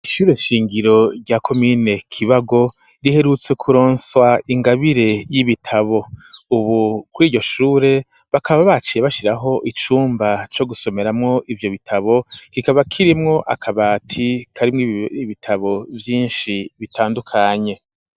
Ishure shingiro rya komine kibago riherutse kuronswa ingabire y'ibitabo, ubu kw iryo shure bakaba baciye bashiraho icumba co gusomeramwo ivyo bitabo kikaba kirimwo akabati karimwo iibitabo vyinshi bitandukanye.